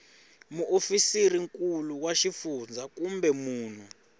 muofisirinkulu wa xifundzha kumbe munhu